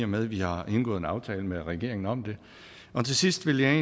med at vi har indgået en aftale med regeringen om det til sidst vil jeg